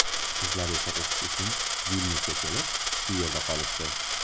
Qizlar esa o‘qish uchun Vilnyusga kelib, shu yerda qolishdi.